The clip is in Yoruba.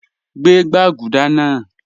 Gbẹ̀ gbagúdà naa